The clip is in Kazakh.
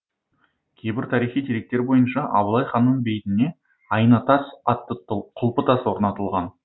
кейбір тарихи деректер бойынша абылай ханның бейтіне айна тас атты құлпытас орнатылған